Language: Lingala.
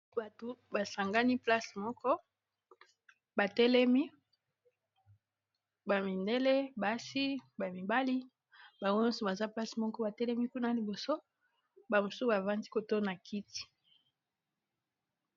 Batu basangani place moko batelemi ba mindele, basi, ba, mibali bango nyonso place moko batelemi kuna liboso ba mosusu bafandi kotoyo na kiti.